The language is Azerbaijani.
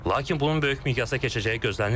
Lakin bunun böyük miqyasda keçəcəyi gözlənilmir.